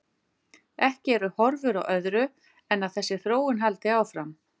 Ekki eru horfur á öðru en að þessi þróun haldi áfram.